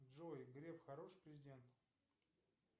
джой греф хороший президент